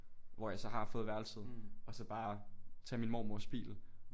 Hvor jeg så har fået værelset og så bare tage min mormors bil